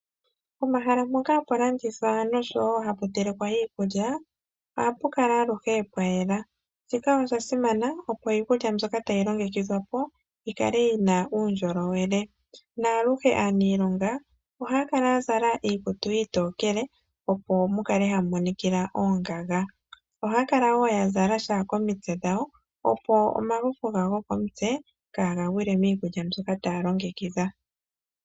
Omahala mpoka hapu landithwa noshowo hapu telekelwa iikulya , ohapu kala aluhe pwa yela. Shika osha simana, opo iikulya mbyoka tayi longekidhwa po yi kale yi na uundjolowele. Aluhe aaniilonga ohaa kala ya zala iikutu iitokele, opo mu kale hamu monikila oongaga. Ohaa kala wo ya zala sha komitse dhawo, opo omafufu gawo gokomutse kaaga gwile miikulya mbyoka taya longekidha.